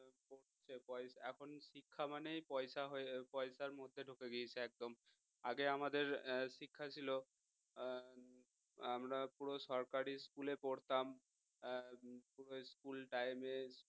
এখন শিক্ষা মানেই পয়সা~ পয়সার মধ্যে ঢুকে গেছে একদম আগে আমাদের শিক্ষা ছিল হম আমরা পুরো সরকারী school এ পড়তাম school time এ